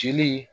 Jeli